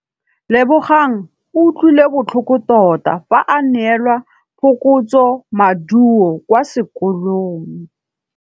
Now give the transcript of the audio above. Lebogang o utlwile botlhoko tota fa a neelwa phokotsômaduô kwa sekolong.